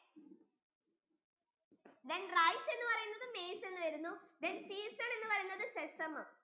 then rice എന്ന് പറയുന്നത് maize യിൽ വരുന്നു then season എന്ന് പറയുന്നത് sesame